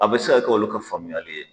A bɛ se ka kɛ olu ka faamuyali ye.